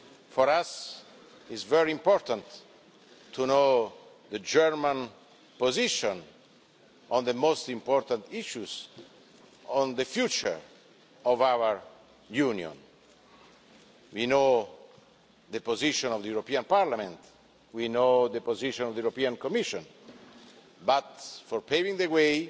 For us, it is very important to know the German position on the most important issues on the future of our Union. We know the position of the European Parliament, we know the position of the Commission, but for paving the way